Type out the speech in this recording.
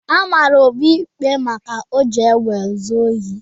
A mara Obi ikpe maka iji egbe zu ohi.